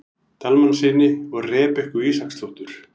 Dalmannssyni og Rebekku Ísaksdóttur.